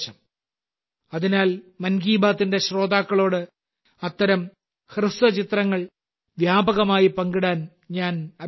അതിനാൽ മൻ കി ബാത്തിന്റെ ശ്രോതാക്കളോട് അത്തരം ഹ്രസ്വചിത്രങ്ങൾ വ്യാപകമായി പങ്കിടാൻ ഞാൻ അഭ്യർത്ഥിക്കുന്നു